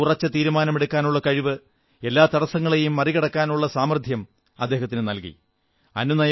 അദ്ദേഹത്തിന്റെ ഉറച്ച തീരുമാനമെടുക്കാനുള്ള കഴിവ് എല്ലാ തടസ്സങ്ങളെയും മറികടക്കാനുള്ള സാമർഥ്യം അദ്ദേഹത്തിനു നല്കി